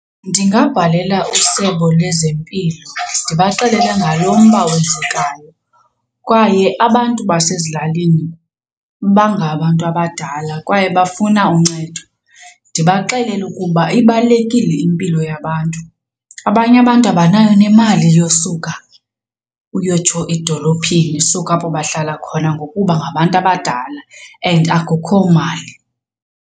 Ndingabhalela usebe lwezempilo ndibaxelele ngalo mba wenzekayo kwaye abantu basezilalini bangabantu abadala kwaye bafuna uncedo. Ndibaxelele ukuba ibalulekile impilo yabantu, abanye abantu abanayo nemali yosuka uyotsho edolophini suka apho bahlala khona ngokuba ngabantu abadala and akukho mali.